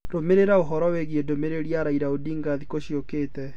rũmirira ũhoro wĩĩgĩe ndumĩriri ya raila odinga thĩkũ cĩũkate